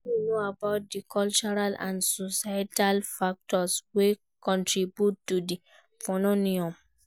Wetin you know about di cultural and societal factors wey contribute to dis phenomenon?